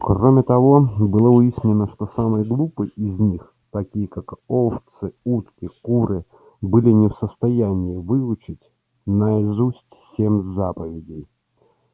кроме того было выяснено что самые глупые из них такие как овцы утки куры были не в состоянии выучить наизусть семь заповедей